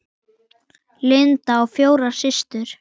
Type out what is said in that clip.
Linda á fjórar systur.